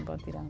Em Botirama.